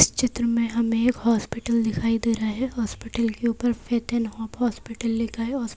इस चित्र में हमें एक हॉस्पिटल दिखाई दे रहा है हॉस्पिटल ऊपर फेथ एंड हॉस्पिटल लिखा हैउस--